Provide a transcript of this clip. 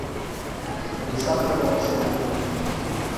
александра борисовна